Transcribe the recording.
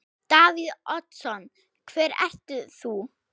Davíð Oddsson: Hver ert þú?